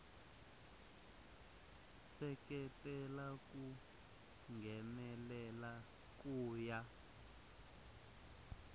seketela ku nghenelela ku ya